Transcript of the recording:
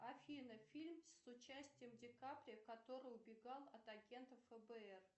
афина фильм с участием ди каприо который убегал от агента фбр